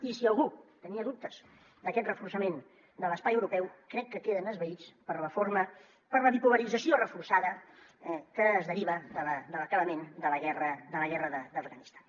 i si algú tenia dubtes d’aquest reforçament de l’espai europeu crec que queden esvaïts per la forma per la bipolarització reforçada que es deriva de l’acabament de la guerra d’afganistan